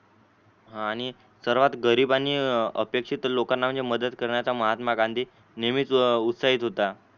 आणि सर्वात गरीब आणि अपेक्षित लोकांना मदत करण्याचा महात्मा गांधी नेहमीच उत्साहीत होता.